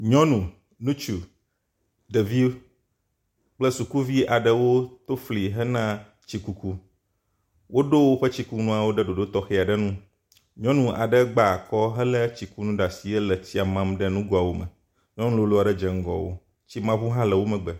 Nyɔnu, ŋutsu, ɖevi kple sukuviwo aɖewo to fli hena tsi kuku. Woɖo woƒe tsikunuawo ɖe ɖoɖo tɔxɛ aɖewo nu. Nyɔnu aɖe gba akɔ helé tsikunu ɖe asi hele tsia mam ɖe nugoawo me. Nyɔnu lolo aɖe dze ŋgɔ wo. Tsimaŋu hã le wo megbe.